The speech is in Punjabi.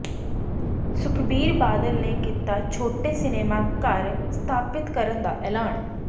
ਸੁਖਬੀਰ ਬਾਦਲ ਨੇ ਕੀਤਾ ਛੋਟੇ ਸਿਨੇਮਾ ਘਰ ਸਥਾਪਿਤ ਕਰਨ ਦਾ ਐਲਾਨ